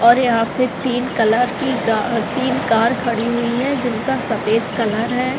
और यहां पे तीन कलर की गा तीन कार खड़ी हुई है जिनका सफेद कलर है।